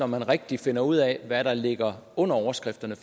man rigtigt finder ud af hvad der ligger under overskrifterne